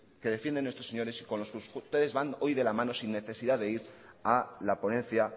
que defienden estos señores y con los que ustedes van hoy de la mano sin necesidad de ir a la ponencia